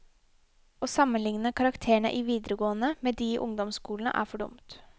Å sammenligne karakterene i videregående med de i ungdomsskolene er for dumt.